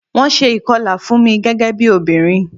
Wón ṣe ìkọlà fún mi, gẹ́gẹ́ bí obìnrin.